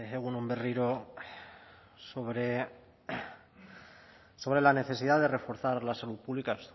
egun on berriro sobre la necesidad de reforzar la salud pública